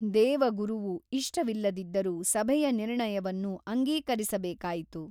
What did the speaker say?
ದೇವಗುರುವು ಇಷ್ಟವಿಲ್ಲದಿದ್ದರೂ ಸಭೆಯ ನಿರ್ಣಯವನ್ನು ಅಂಗೀಕರಿಸಬೇಕಾಯಿತು.